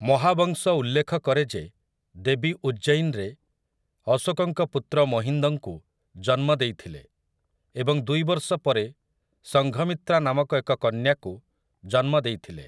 ମହାବଂଶ ଉଲ୍ଲେଖ କରେ ଯେ ଦେବୀ ଉଜ୍ଜୈନରେ ଅଶୋକଙ୍କ ପୁତ୍ର ମହିନ୍ଦଙ୍କୁ ଜନ୍ମ ଦେଇଥିଲେ ଏବଂ ଦୁଇ ବର୍ଷ ପରେ ସଂଘମିତ୍ରା ନାମକ ଏକ କନ୍ୟାକୁ ଜନ୍ମ ଦେଇଥିଲେ ।